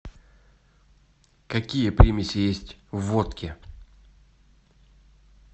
какие примеси есть в водке